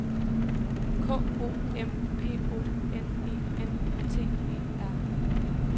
K O M P O N E N T E R